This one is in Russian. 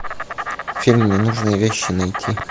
фильм ненужные вещи найти